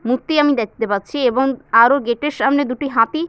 মূর্তি আমি দেখতে পাচ্ছি এবং আরো গেট -এর সামনে দুটি হাতি--